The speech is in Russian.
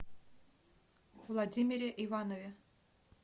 владимире иванове